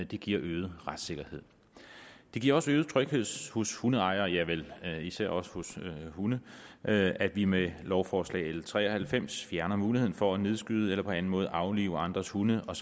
det giver øget retssikkerhed det giver også øget tryghed hos hundeejere ja vel især også hos hunde at at vi med lovforslag l tre og halvfems fjerner muligheden for at nedskyde eller på anden måde aflive andres hunde og